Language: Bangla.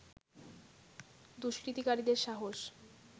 দুস্কৃতিকারীদের সাহস